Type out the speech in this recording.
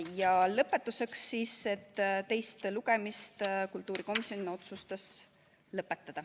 Ja lõpetuseks otsustas kultuurikomisjon, et teine lugemine tuleks lõpetada.